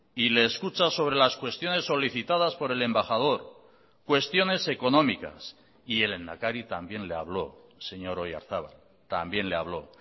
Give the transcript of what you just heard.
y le escucha sobre las cuestiones solicitadas por el embajador cuestiones económicas y el lehendakari también le habló señor oyarzabal también le habló